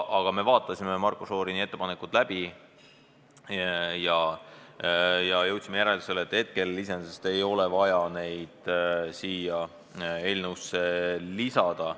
Me vaatasime siiski Marko Šorini ettepaneku läbi ja jõudsime järeldusele, et praegu ei ole vaja seda siia eelnõusse lisada.